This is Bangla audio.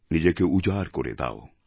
নিজেকে উজাড় করে দাও